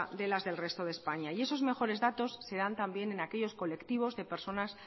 de las del resto de españa y esos mejores datos se dan también en aquellos colectivos de personas